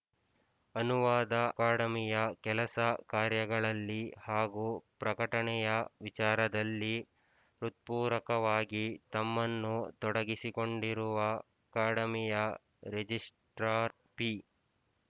ಅನುವಾದ ಅಕಾಡೆಮಿಯ ಕೆಲಸಕಾರ್ಯಗಳಲ್ಲಿ ಹಾಗೂ ಪ್ರಕಟಣೆಯ ವಿಚಾರದಲ್ಲಿ ಹೃತ್ಪೂರ್ವಕವಾಗಿ ತಮ್ಮನ್ನು ತೊಡಗಿಸಿಕೊಂಡಿರುವ ಅಕಾಡೆಮಿಯ ರಿಜಿಸ್ಟ್ರಾರ್ ಪಿ